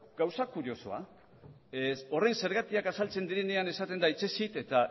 gauza kuriosoa horren zergatiak azaltzen direnean esaten da hitzez hitz eta